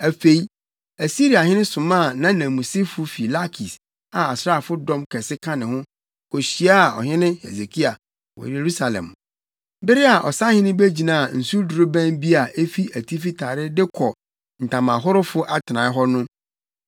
Afei Asiriahene somaa nʼananmusifo fi Lakis a asraafo dɔm kɛse ka ne ho kohyiaa Ɔhene Hesekia wɔ Yerusalem. Bere a ɔsahene begyinaa nsudorobɛn bi a efi Atifi Tare de kɔ Ntamahorofo Atenae hɔ no,